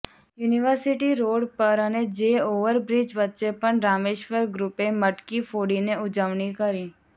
university road પર અને જે ઓવર બ્રિજ વચ્ચે પણ રામેશ્વર ગ્રુપે મટકી ફોડીને ઉજવણી કરી